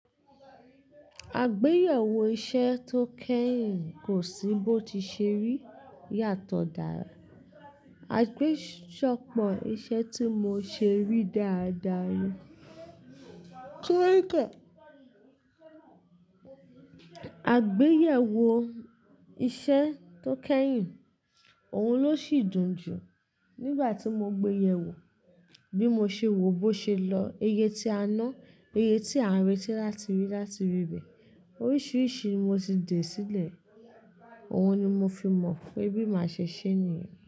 Àgbéyẹ̀wò iṣẹ́ tó kẹ́yìn kò sí bó tiì ṣe rí yàtọ̀ dára. Àgbésọ́pọ̀ iṣẹ́ tí mo ṣe rí dáadáa ni. Ágbéyẹ̀wọ̀ iṣẹ́ tí ó kẹ́yìn òhun ló sì dùn jù. Nígbà tí mo gbeyẹ̀wò bí mo ṣe wò ó bó ṣe lọ, iye tí a ná, iye tí à ń retí láti rí láti rí bẹ́. Oríṣìíríṣìí ni mo ti dè sílẹ̀, òun ni mo fi mọ̀ pé bí màá ṣe ṣe é nìyẹn.